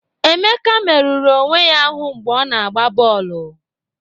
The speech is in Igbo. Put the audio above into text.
Emeka merụrụ onwe ya ahụ mgbe ọ na-agba bọọlụ.